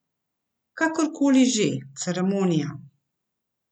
Kakor koli že, ceremonija.